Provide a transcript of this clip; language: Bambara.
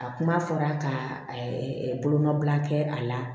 A kuma fɔra ka bolomabila kɛ a la